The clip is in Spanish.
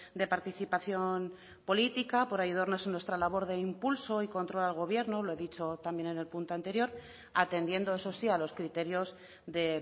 de participación política por ayudarnos en nuestra labor de impulso y control al gobierno lo he dicho también en el punto anterior atendiendo eso sí a los criterios de